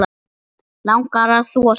Langar að þvo sér.